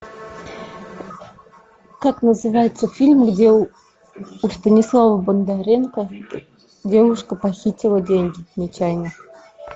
как называется фильм где у станислава бондаренко девушка похитила деньги нечаянно